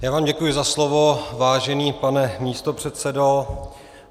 Já vám děkuji za slovo, vážený pane místopředsedo.